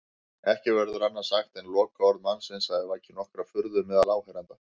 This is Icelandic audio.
Ekki verður annað sagt en lokaorð mannsins hafi vakið nokkra furðu meðal áheyrenda.